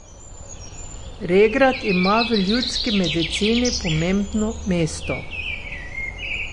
Regrat ima v ljudski medicini pomembno mesto.